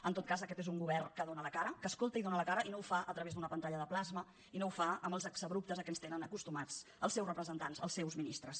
en tot cas aquest és un govern que dóna la cara que escolta i dóna la cara i no ho fa a través d’una pantalla de plasma i no ho fa amb els exabruptes a què ens tenen acostumats els seus representants els seus ministres